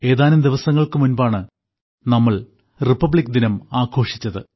ഏതാനും ദിവസങ്ങൾക്കും മുൻപാണ് നമ്മൾ റിപ്പബ്ലിക് ദിനം ആഘോഷിച്ചത്